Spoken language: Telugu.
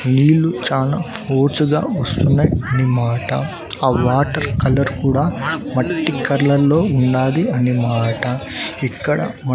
నీళ్లు చానా ఫోర్స్ గా వస్తున్నాయి అని మాట ఆ వాటర్ కలర్ కూడా మట్టి కలర్ లో ఉన్నాది అని మాట ఇక్కడ మా--